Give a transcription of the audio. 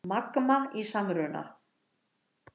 Magma í samruna